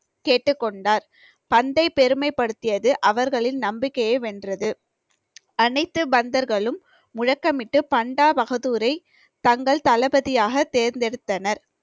கேட்டுக்கொண்டார் தந்தை பெருமைப்படுத்தியது அவர்களின் நம்பிக்கைய வென்றது அனைத்து பந்தர்களும் முழக்கமிட்டு பண்டா பகதூரை தங்கள் தளபதியாக தேர்ந்தெடுத்தனர்